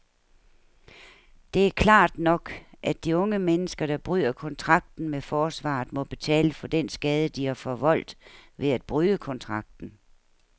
Det er klart nok, at de unge mennesker, der bryder kontrakten med forsvaret, må betale for den skade, de har forvoldt ved at bryde kontrakten.